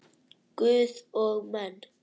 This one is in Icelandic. Guð og menn.